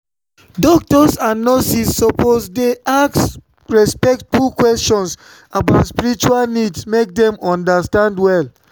doctors and nurses suppose dey ask respectful questions about spiritual needs make dem understand well.